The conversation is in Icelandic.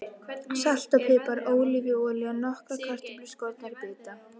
Salt og pipar Ólífuolía Nokkrar kartöflur skornar í bita.